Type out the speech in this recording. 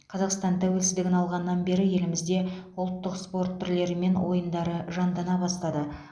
қазақстан тәуелсіздігін алғаннан бері елімізде ұлттық спорт түрлері мен ойындары жандана бастады